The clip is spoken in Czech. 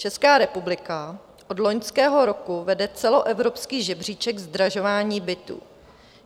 Česká republika od loňského roku vede celoevropský žebříček zdražování bytů.